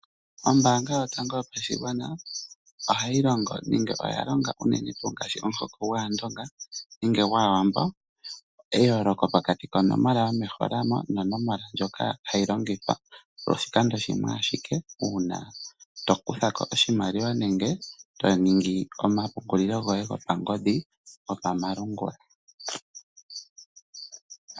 Ombaanga Yotango yoPashigwa ohayi longo unene ngaashi pomuhoko gwAandonga nenge gwAawambo eyooloko pokati konomola yomehola mo nonomola ndjoka hayi longithwa oshikando shimwe ashike uuna to kutha ko oshimaliwa nenge to ningi omapungulilo goye gopangodhi gopamalungula.